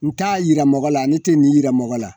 N t'a yira mɔgɔ la ale tɛ nin yira mɔgɔ la